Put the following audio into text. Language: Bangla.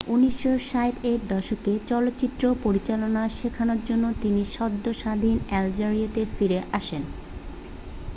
1960 এর দশকে চলচ্চিত্র পরিচালনা শেখানোর জন্য তিনি সদ্য স্বাধীন আলজেরিয়াতে ফিরে আসেন